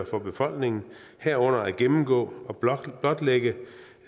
for befolkningen og herunder at gennemgå og blotlægge blotlægge